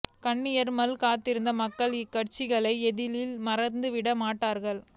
கண்ணிர் மல்க காத்திருந்த மக்கள் இக்காட்சிகைளை எளிதில் மறந்துவிட மாட்டார்கள்